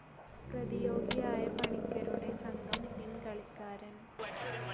പ്രതിയോഗിയായ പണിക്കരുടെ സംഘം പിൻകാളിക്കാരൻ.